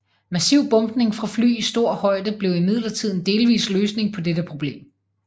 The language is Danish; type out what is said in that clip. Massiv bombning fra fly i stor højde blev imidlertid en delvis løsning på dette problem